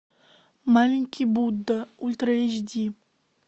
маленький будда ультра эйч ди